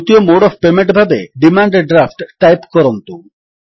ଦ୍ୱିତୀୟ mode of payment ଭାବେ demand draft type କରନ୍ତୁ